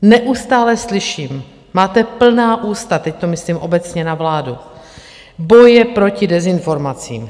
Neustále slyším, máte plná ústa, teď to myslím obecně na vládu, boje proti dezinformacím.